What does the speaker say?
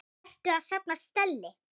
Ertu að safna stelli?